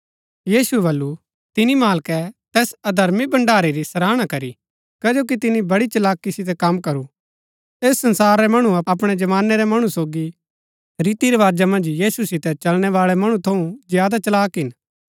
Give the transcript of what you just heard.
यीशुऐ बल्लू तिनी मालकै तैस अधर्मी भण्डारी री सराहना करी कजो कि तिनी बड़ी चलाकी सितै कम करू ऐस संसार रै मणु अपणै जमानै रै मणु सोगी रीति रवाजा मन्ज यीशु सितै चलणै बाळै मणु थऊँ ज्यादा चलाक हिन